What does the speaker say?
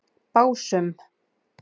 Básum